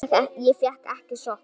Ég fékk ekki sjokk.